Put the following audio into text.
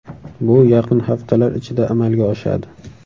Bu yaqin haftalar ichida amalga oshadi.